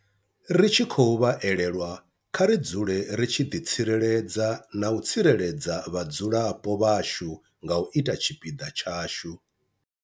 Ri tshi khou vha elelwa, kha ri dzule ri tshi ḓitsireledza na u tsireledza vhadzulapo vhashu nga u ita tshipiḓa tshashu.